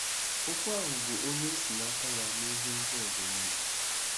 Okwu ahụ bụ onye e si n’aka ya mee ihe ndị ọzọ nile.